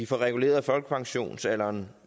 får reguleret folkepensionsalderen